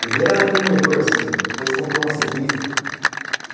Primeiro era aquele moedor, assim, depois comprou uma centrífuga.